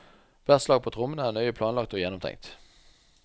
Hvert slag på trommene er nøye planlagt og gjennomtenkt.